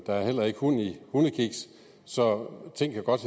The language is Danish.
er heller ikke hund i hundekiks så ting kan godt